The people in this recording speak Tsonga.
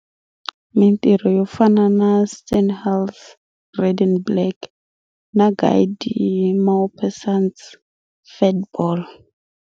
Mintirho yo fana na Stendhal's "Red and Black" na Guy de Maupassant's "Fat Ball".